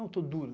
Não, estou duro.